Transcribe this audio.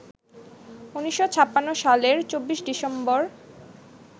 ১৯৫৬ সালের ২৪ ডিসেম্বর